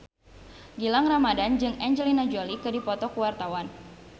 Gilang Ramadan jeung Angelina Jolie keur dipoto ku wartawan